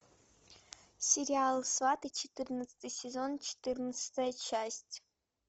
сериал сваты четырнадцатый сезон четырнадцатая часть